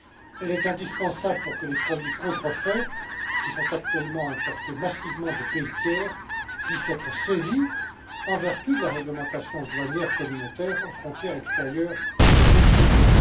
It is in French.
Elle est indispensable pour que les produits contrefaits, qui sont actuellement importés massivement de pays tiers, puissent être saisis, en vertu de la réglementation douanière communautaire aux frontières extérieures de notre Union.